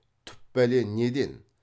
түп бәле неден